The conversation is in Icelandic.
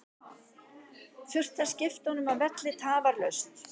Þurfti að skipta honum af velli tafarlaust.